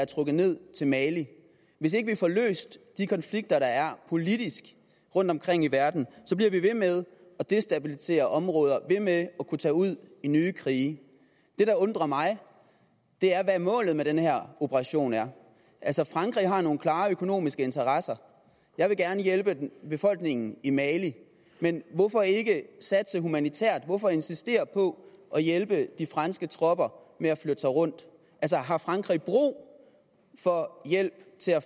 trukket ned til mali hvis ikke vi får løst de konflikter der er politisk rundtomkring i verden bliver vi ved med at destabilisere områder og ved med at kunne tage ud i nye krige det der undrer mig er hvad målet med den her operation er altså frankrig har nogle klare økonomiske interesser jeg vil gerne hjælpe befolkningen i mali men hvorfor ikke satse humanitært hvorfor insistere på at hjælpe de franske tropper med at flytte sig rundt har frankrig brug for hjælp til at